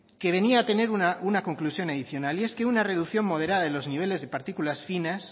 que venía a tener una conclusión adicional y es que una reducción moderada de los niveles de partículas finas